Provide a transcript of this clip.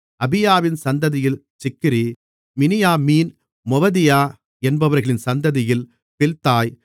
அபியாவின் சந்ததியில் Zichri Miniamin Moadiah என்பவர்களின் சந்ததியில் பில்தாய்